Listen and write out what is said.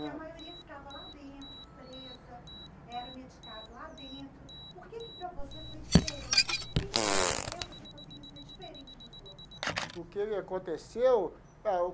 E a maioria ficava lá dentro, presa, era medicada lá dentro, por que que para você foi diferente? O que que aconteceu que você conseguiu ser diferente dos outros lá? O que que aconteceu? Ah.